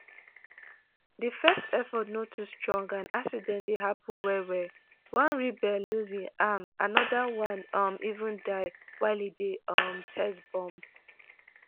di first efforts no too strong and accidents dey happun well-well: one rebel lose im hand anoda one um even die while e dey um test bomb.